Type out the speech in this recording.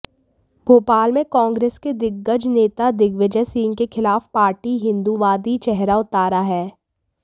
भोपाल में कांग्रेस के दिग्गज नेता दिग्विजय सिंह के खिलाफ पार्टी हिंदूवादी चेहरा उतारा है